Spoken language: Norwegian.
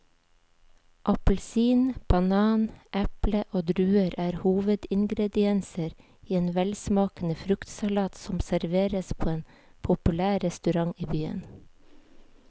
Appelsin, banan, eple og druer er hovedingredienser i en velsmakende fruktsalat som serveres på en populær restaurant i byen.